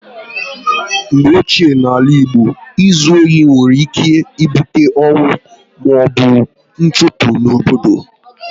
Mgbe ochie n'ala Igbo, ịzu ohi nwere ike ibute ọnwụ maọbụ nchụpụ n'obodo